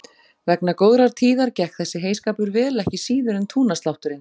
Vegna góðrar tíðar gekk þessi heyskapur vel ekki síður en túnaslátturinn.